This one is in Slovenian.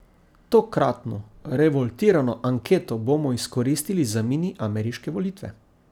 Tokratno Revoltirano anketo bomo izkoristili za mini ameriške volitve.